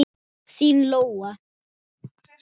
Þín Lóa.